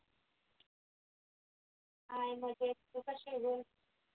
hi मजेत तू कशी आहे ग?